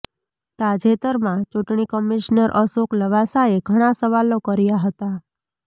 તાજેતરમાં ચૂંટણી કમિશનર અશોક લવાસાએ ઘણાં સવાલો કર્યા હતા